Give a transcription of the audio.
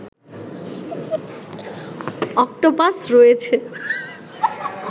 octopus রয়েছে